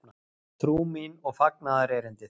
Trú mín og fagnaðarerindið?